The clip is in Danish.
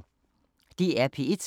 DR P1